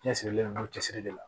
Cɛsirilen don cɛsiri de la